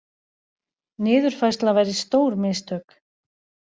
Niðurfærsla væri stór mistök